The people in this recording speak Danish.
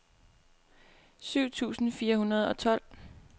syv tusind fire hundrede og tolv